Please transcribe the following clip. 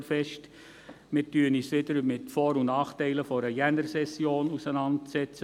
Wir setzen uns wieder mit den Vor- und Nachteilen einer Januarsession auseinander.